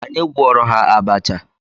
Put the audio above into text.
Anyị gwọọrọ ha abacha.